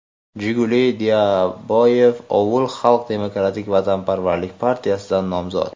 Jiguli Dairaboyev – "Ovul" Xalq demokratik vatanparvarlik partiyasidan nomzod.